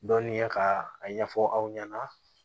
Dɔnniya ka a ɲɛfɔ aw ɲɛna